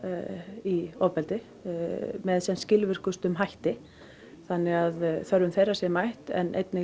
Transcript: í ofbeldi með sem skilvirkustum hætti þannig að þörfum þeirra sé mætt en einnig